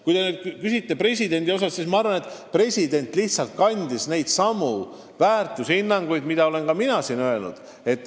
Kui te aga presidendi kohta küsite, siis ma arvan, et president lihtsalt pidas silmas neidsamu väärtushinnanguid, mida olen ka mina siin esile toonud.